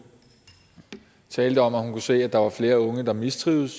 talte om at hun kunne se at der var flere unge der mistrivedes